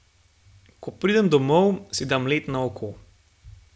Ko pridem domov, si dam led na oko.